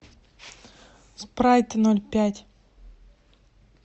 спрайт ноль пять